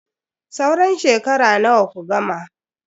Sauran shekara nawa ku gama?